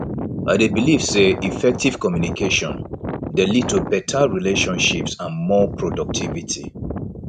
i dey believe say effective communication dey lead to beta relationships and more productivity